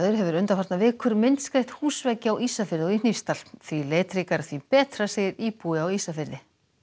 hefur undanfarnar vikur myndskreytt húsveggi á Ísafirði og í Hnífsdal því litríkara því betra segir íbúi á Ísafirði